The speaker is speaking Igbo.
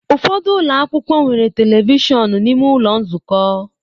Ụfọdụ ụlọ akwụkwọ nwere telivishọn n'ime ụlọ nzukọ.